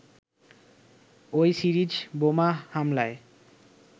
ওই সিরিজ বোমা হামলায়